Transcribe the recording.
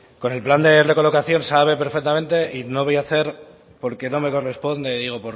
con el plan de recolocación sabe perfectamente y no voy a hacer porque no me corresponde digo